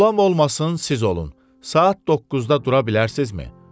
Qulam olmasın, siz olun, saat 9-da dura bilərsinizmi?